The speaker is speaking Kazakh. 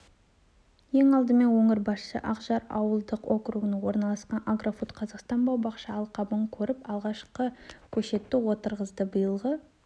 ең алдымен өңір басшысы ақжар ауылдық округінде орналасқан агрофуд-қазақстан бау-бақша алқабын көріп алғашқы көшетті отырғызды биылғы